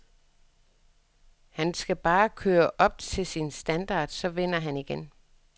Han skal bare køre op til sin standard, så vinder han igen.